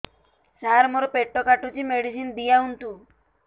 ସାର ମୋର ପେଟ କାଟୁଚି ମେଡିସିନ ଦିଆଉନ୍ତୁ